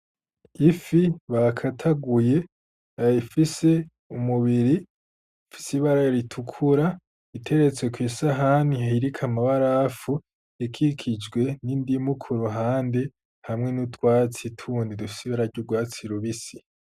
Ifi bakataguye ah ifise umubiri fise ibara ritukura iteretse kw'isahani hhirika amabarafu ekikijwe n'indimuukuruhande hamwe n'utwatsi tuni rufisibe arary' urwatsi lubisi.